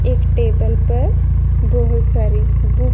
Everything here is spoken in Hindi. एक टेबल पर बहुत सारी बुक --